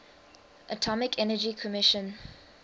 atomic energy commission